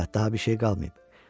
Hə, daha bir şey qalmayıb.